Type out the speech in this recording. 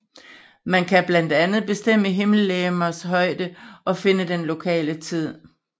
Man kan blandt andet bestemme himmellegemers højde og finde den lokale tid